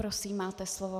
Prosím máte slovo.